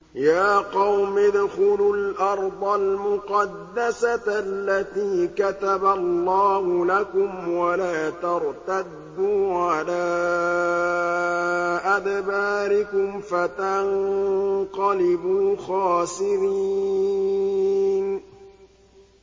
يَا قَوْمِ ادْخُلُوا الْأَرْضَ الْمُقَدَّسَةَ الَّتِي كَتَبَ اللَّهُ لَكُمْ وَلَا تَرْتَدُّوا عَلَىٰ أَدْبَارِكُمْ فَتَنقَلِبُوا خَاسِرِينَ